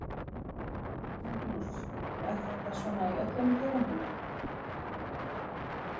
Magnús: Og er þetta svona í öllum tegundum?